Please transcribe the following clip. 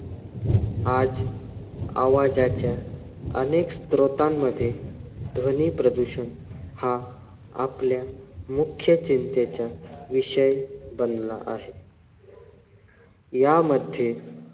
आज आवाजाच्या अनेक स्रोतांमध्ये ध्वनी प्रदूषण हा आपल्या मुख्य चिंतेच्या विषय बनला आहे. यामध्ये,